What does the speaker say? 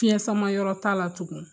Fiɲɛ samayɔrɔ t'a la tugun.